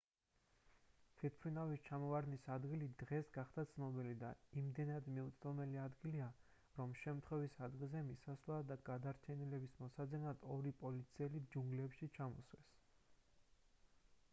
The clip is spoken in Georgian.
თვითმფრინავის ჩამოვარდნის ადგილი დღეს გახდა ცნობილი და იმდენად მიუწვდომელი ადგილია რომ შემთხვევის ადგილზე მისასვლელად და გადარჩენილების მოსაძებნად ორი პოლიციელი ჯუნგლებში ჩამოსვეს